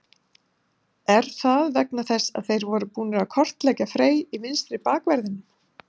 Var það vegna þess að þeir voru búnir að kortleggja Frey í vinstri bakverðinum?